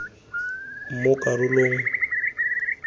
mo karolong nngwe le nngwe